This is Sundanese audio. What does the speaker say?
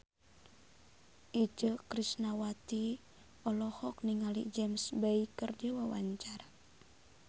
Itje Tresnawati olohok ningali James Bay keur diwawancara